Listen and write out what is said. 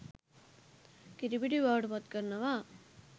කිරිපිටි බවට පත්කරනවා.